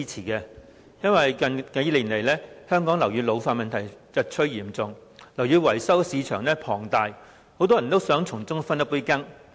由於香港樓宇老化問題近年日趨嚴重，樓宇維修市場龐大，很多人都想從中分一杯羹。